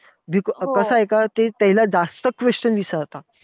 कसंय का, ते त्याला जास्त questions विचारता.